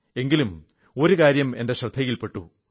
എങ്കിലും ഒരു കാര്യം എന്റെ ശ്രദ്ധയിൽ പെട്ടു